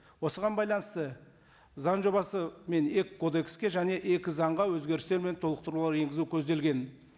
осыған байланысты заң жобасы мен екі кодекстке және екі заңға өзгерістер мен толықтырулар енгізу көзделген